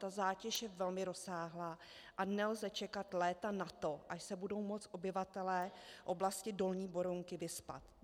Ta zátěž je velmi rozsáhlá a nelze čekat léta na to, až se budou moct obyvatelé oblasti dolní Berounky vyspat.